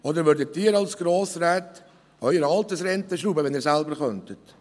Oder würden Sie als Grossräte an Ihren Altersrenten schrauben, wenn Sie dies selber tun könnten?